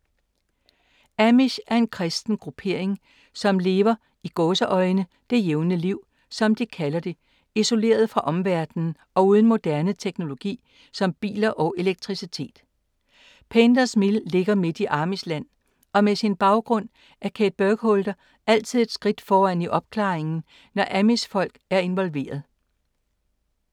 Amish er en kristen gruppering som lever ”det jævne liv”, som de kalder det, isoleret fra omverdenen og uden moderne teknologi som biler og elektricitet. Painters Mill ligger midt i amish-land og med sin baggrund er Kate Burkholder altid et skridt foran i opklaringen, når amish-folk er involveret.